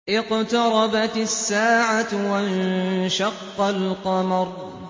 اقْتَرَبَتِ السَّاعَةُ وَانشَقَّ الْقَمَرُ